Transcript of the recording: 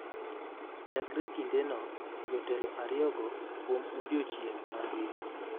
Chakre kindeno, jotelo ariyogo kuom odiechieng’ mangima